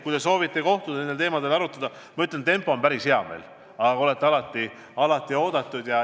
Kui te soovite kohtuda ja nendel teemadel arutada – ma ütlen, et töötempo on meil päris hea, aga olete alati oodatud.